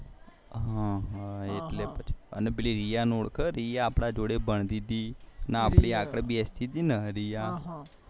હા એટલે પછી રિયા ને ઓળખે આપડા જોડે ભણતી તી આગળ બેસતી તી ને